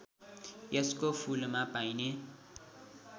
यसको फूलमा पाइने